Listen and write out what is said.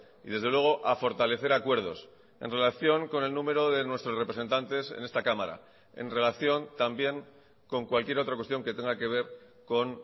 y desde luego a fortalecer acuerdos en relación con el número de nuestros representantes en esta cámara en relación también con cualquier otra cuestión que tenga que ver con